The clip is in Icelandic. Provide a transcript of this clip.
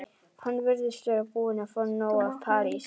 Hún virðist vera búin að fá nóg af París.